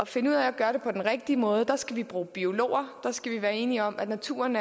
finde ud af at gøre det på den rigtige måde skal vi bruge biologer og der skal vi være enige om at naturen